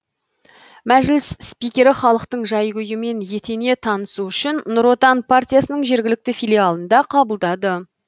мәжіліс спикері халықтың жай күйімен етене танысу үшін нұр отан партиясының жергілікті филиалында қабылдады